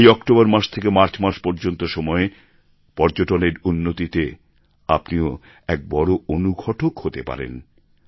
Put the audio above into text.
এই অক্টোবর মাস থেকে মার্চ মাস পর্যন্ত সময়ে পর্যটনের উন্নতিতে আপনিও এক বড়ো অনুঘটক হতে পারেন